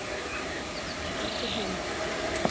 Þá fara allir heim.